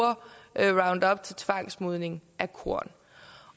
roundup til tvangsmodning af korn